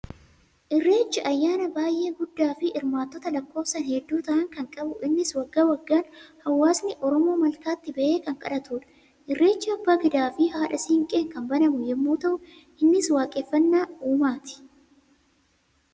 Irreechi ayyaana baay'ee guddaafi hirmaattota lakkoofsaan hedduu ta'an kan qabu, innis waggaa waggaan hawaasni Oromoo malkaatti bahee kan kadhatudha. Irreechi abbaa gadaafi haadha siinqeen kan banamu yemmuu ta'u, innis waaqeffannaa uumaati.